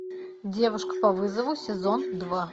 девушка по вызову сезон два